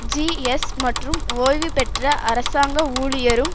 ஜீஎஸ் மற்றும் ஒய்வு பெற்ற அரசாங்க ஊழியரும்